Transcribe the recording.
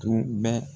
Tun bɛ